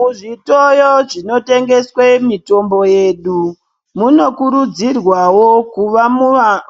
Muzvitoyo zvinotengeswe mitombo yedu , munokurudzirwawo kuva